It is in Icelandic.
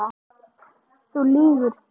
Þú lýgur því.